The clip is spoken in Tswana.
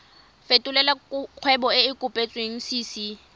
fetolela kgwebo e e kopetswengcc